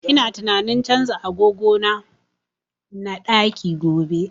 Ina tunanin canza agogo na na ɗaki gobe